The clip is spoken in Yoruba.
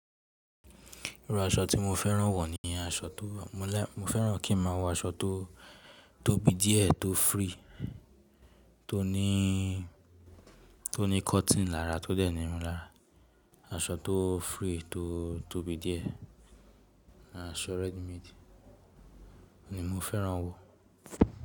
Irú aṣọ tí mo fẹ́ran wọ̀ ni aṣọ tó, mo fẹ́ran kí n má wọ aṣọ tó tóbi díẹ̀ tó free, tó ní, tó ní cotton lára tó dẹni irun lára, aṣọ tó free tó tóbi díẹ̀ àṣọ ready made ni mo fẹ́ran wọ̀